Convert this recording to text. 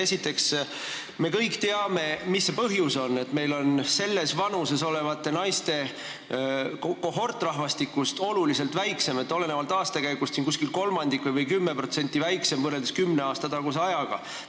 Esiteks, me kõik teame, mis see põhjus on: selles vanuses olevate naiste kohort on oluliselt väiksem, olenevalt aastakäigust kolmandiku võrra või 10% väiksem, võrreldes kümne aasta taguse ajaga.